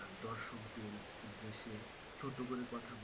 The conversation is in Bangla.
আহ দর্শকদের উদ্দেশ্যে ছোট করে কথা বলা,